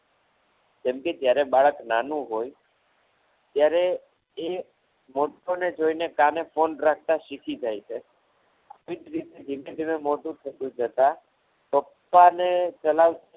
જેમ કે જ્યારે બાળક નાનું હોય ત્યારે એ મોટાને જોઈને કામે phone કરતા શીખી જાય છે એ જ રીતે ધીમે ધીમે મોટું થતા જતા પપ્પાને ચલાવતા